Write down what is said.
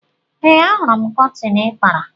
Ee, Ahụrụ m kọtịn ị kpara.